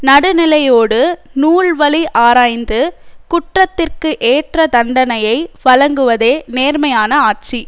நடுநிலையோடு நூல்வழி ஆராய்ந்து குற்றத்திற்கு ஏற்ற தண்டனையை வழங்குவதே நேர்மையான ஆட்சி